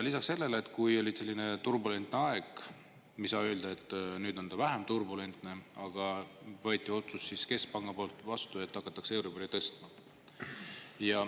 Lisaks sellele, kui oli selline turbulentne aeg – me ei saa öelda, et nüüd ta oleks vähem turbulentne –, siis võeti keskpangas vastu otsus, et hakatakse euribori tõstma.